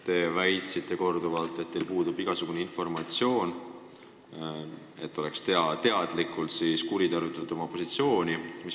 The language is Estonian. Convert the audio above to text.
Te väitsite korduvalt, et teil puudub igasugune informatsioon, et oleks teadlikult kuritarvitatud oma positsiooni.